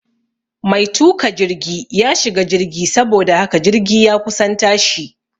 Mai tuka jirgi ya shiga jirgi saboda haka jirgi ya kusan tashi